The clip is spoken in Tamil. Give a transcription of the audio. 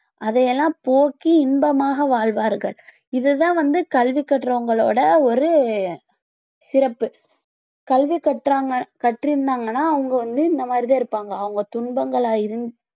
அதை எல்லாம் போக்கி இன்பமாக வாழ்வார்கள் இது தான் வந்து கல்வி கற்றவங்களோட ஒரு சிறப்பு கல்வி கற்றாங்க கற்றிருந்தாங்கன்னா அவங்க வந்து இந்த மாதிரி தான் இருப்பாங்க அவங்க துன்பங்களை அறிஞ்~